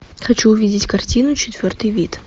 хочу увидеть картину четвертый вид